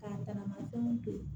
K'a tagama fɛnw to ye